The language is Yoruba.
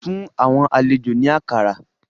Fun awọn alejo ni akara